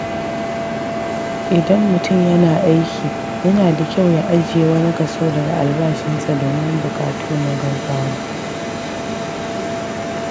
Idan mutum yana aiki, yana da kyau ya ajiye wani kaso daga albashinsa domin buƙatu na gaugawa.